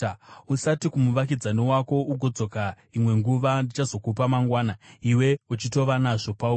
Usati kumuvakidzani wako, “Ugodzoka imwe nguva; ndichazokupa mangwana,” iwe uchitova nazvo pauri.